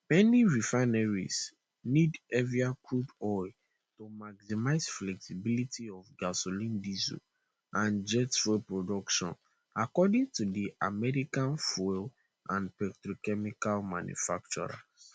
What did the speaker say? many refineries need heavier crude oil to maximize flexibility of gasoline diesel and jet fuel production according to di american fuel and petrochemical manufacturers